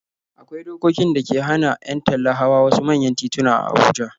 Akwai dokokin da ke hana 'yan talla hawa wasu manyan tituna a Abuja.